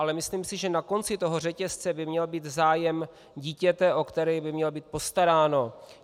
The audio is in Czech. Ale myslím si, že na konci toho řetězce by měl být zájem dítěte, o které by mělo být postaráno.